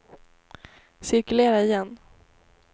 cirkulera igen